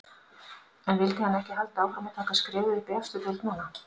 En vildi hann ekki halda áfram og taka skrefið upp í efstu deild núna?